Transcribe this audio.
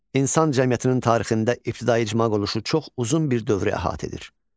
İnsan cəmiyyətinin tarixi inkişafında ibtidai icma quruluşu çox uzun bir dövrü əhatə edir.